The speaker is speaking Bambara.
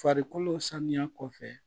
Farikolo sanuya kɔfɛ